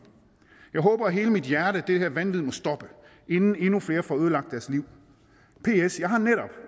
jeg håber af hele mit hjerte at det her vanvid må stoppe inden endnu flere får ødelagt deres liv ps jeg har netop